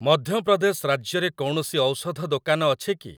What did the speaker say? ମଧ୍ୟପ୍ରଦେଶ ରାଜ୍ୟରେ କୌଣସି ଔଷଧ ଦୋକାନ ଅଛି କି?